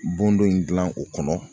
Bon dɔ in dilan o kɔnɔ